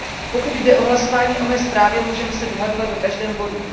Pokud jde o hlasování o mé zprávě, můžeme se dohadovat o každém bodu.